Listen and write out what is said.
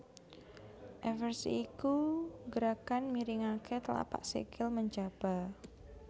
Eversi iku gerakan miringaké tlapak sikil menjaba